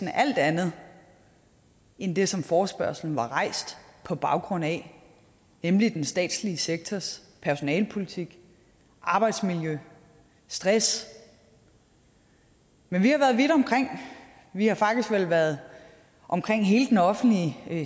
alt andet end det som forespørgslen var rejst på baggrund af nemlig den statslige sektors personalepolitik arbejdsmiljø stress men vi har været vidt omkring vi har faktisk været omkring hele den offentlige